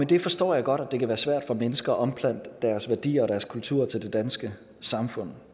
det forstår jeg godt at det kan være svært for mennesker at omplante deres værdier og deres kultur til det danske samfund